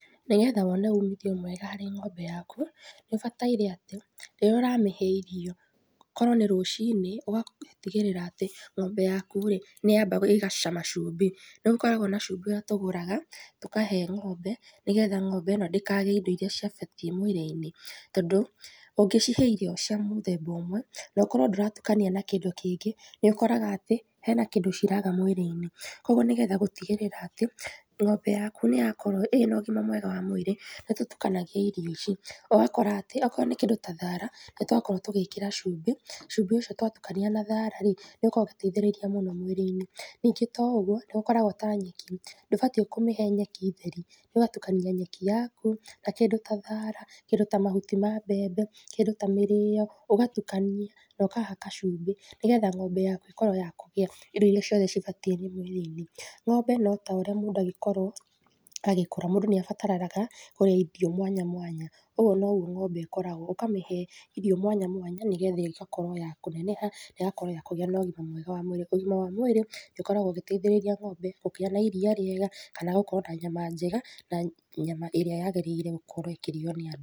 Nĩgetha wone umithio mwega harĩ ng'ombe yaku, nĩũbataire atĩ, rĩrĩa ũramĩhe irio korwo nĩ rũciinĩ ũgatigĩrĩra atĩ ng'ombe yaku rĩ, nĩyamba gũcama cumbĩ, nĩgũkoragwo na cumbĩ ũrĩa tũgũraga tũkahe ng'ombe nĩgetha ng'ombe ĩ no ndĩkage indo iria cibatiĩ mwĩrĩ-inĩ tondũ ũngĩcihe irio cia mũthemba ũmwe na ũkorwo ndũratukania na kĩndũ kĩngĩ, nĩũkoraga atĩ hena kindũ ciraga mwĩrĩ-inĩ kogwo nĩgetha gũtigĩrĩra atĩ ng'ombe yaku nĩyakorwo ĩna ũgima mwega wa mwĩrĩ, nĩtũtukanagia irio ici ũgakora atĩ okorwo nĩ kĩndũ ta thara nĩtwakorwo tũgĩkĩra cumbĩ, cumbĩ ũcio twatukania na thara rĩ, nĩũkoragwo ũgĩteithĩrĩria mũno mwĩrĩ-inĩ, ningĩ to ũguo nĩgũkoragwo ta nyeki, ndũbatiĩ kũmĩhe nyeki theri, nĩũgatukania nyeki yaku na kĩndũ ta thara, kĩndũ ta mahuti ma mbembe, kĩndũ ya mĩrĩo ũgatukania na ũkahaka cumbĩ, nĩgetha ng'ombe yaku ĩkorwo ya kũgĩa indo iria ciothe cibatiĩ mwĩrĩ-inĩ. Ng'ombe no ta ũrĩa mũndũ angĩkorwo agĩkũra, mũndũ nĩabataraga kũrĩa irio mwanya mwanya ũguo noguo ng'ombe ĩkoragwo, ũkamĩhe irio mwanya mwanya nĩgetha ĩgakorwo ya kũneneha, ĩgakorwo ya kũgĩa na ũgima mwega wa mwĩrĩ, ũgima wa mwĩrĩ nĩũkoragwo ũgĩteithĩrĩria ng'ombe kũgia na iria rĩega, kana gũkorwo na nyama njega na nyama ĩrĩa yagĩrĩire gũkorwo ĩkĩrĩo nĩ andũ.